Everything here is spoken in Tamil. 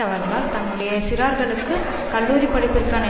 அவர்களால் தங்களுடைய சிறார்களுக்கு கல்லூரிப்படிப்பிற்கான